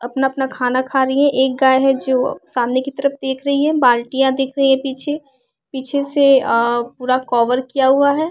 अपना अपना खाना खा रही है एक गाय है जो सामने की तरफ देख रही है बाल्टियां देख रही है पीछे पीछे से अअ पूरा कवर किया हुआ है।